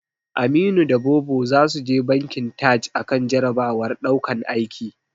Aminu da Bobo zasu je bankin Taj akan jarabawar daukan aiki.